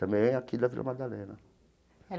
Também aqui da Vila Madalena.